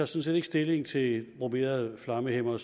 set ikke stilling til bromerede flammehæmmere